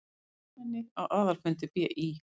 Fjölmenni á aðalfundi BÍ